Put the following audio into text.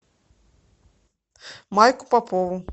майку попову